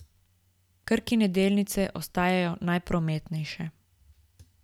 Krkine delnice ostajajo najprometnejše.